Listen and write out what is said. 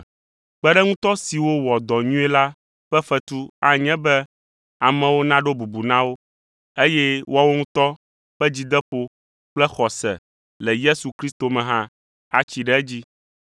Kpeɖeŋutɔ siwo wɔ dɔ nyuie la ƒe fetu anye be amewo naɖo bubu na wo, eye woawo ŋutɔ ƒe dzideƒo kple xɔse le Yesu Kristo me hã atsi ɖe edzi.